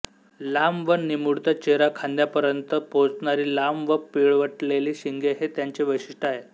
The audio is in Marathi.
लांब व निमुळता चेहरा खांद्यापर्यंत पोचणारी लांब व पिळवटलेली शिंगे हे त्यांचे वैशिष्ट्य आहे